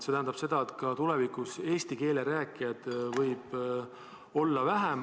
See tähendab ka seda, et tulevikus võib eesti keele rääkijaid olla vähem.